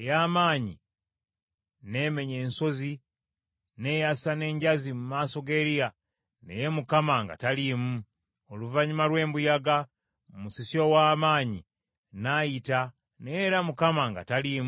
ey’amaanyi n’emenya ensozi n’eyasa n’enjazi mu maaso ga Eriya, naye Mukama nga taliimu. Oluvannyuma lw’embuyaga, musisi ow’amaanyi n’ayita naye era Mukama nga taliimu.